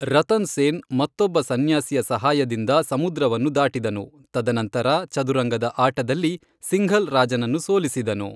ರತನ್ ಸೇನ್ ಮತ್ತೊಬ್ಬ ಸನ್ಯಾಸಿಯ ಸಹಾಯದಿಂದ ಸಮುದ್ರವನ್ನು ದಾಟಿದನು, ತದನಂತರ, ಚದುರಂಗದ ಆಟದಲ್ಲಿ ಸಿಂಘಲ್ ರಾಜನನ್ನು ಸೋಲಿಸಿದನು.